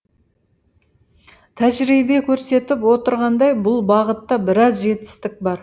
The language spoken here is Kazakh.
тәжірибе көрсетіп отырғандай бұл бағытта біраз жетістік бар